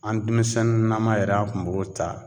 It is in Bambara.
An denmisɛnnin naman yɛrɛ ,an kun b'o ta